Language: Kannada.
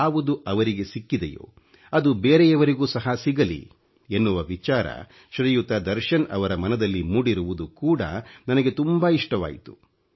ಯಾವುದು ಅವರಿಗೆ ಸಿಕ್ಕಿದೆಯೋ ಅದು ಬೇರೆಯವರಿಗೂ ಸಹ ಸಿಗಲಿ ಎನ್ನುವ ವಿಚಾರ ಶ್ರೀಯುತ ದರ್ಶನ್ ರವರ ಮನದಲ್ಲಿ ಮೂಡಿರುವುದು ಕೂಡ ನನಗೆ ತುಂಬಾ ಇಷ್ಟವಾಯಿತು